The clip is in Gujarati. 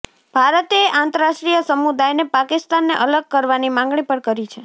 ભારતે આંતરરાષ્ટ્રીય સમુદાયને પાકિસ્તાનને અલગ કરવાની માંગણી પણ કરી છે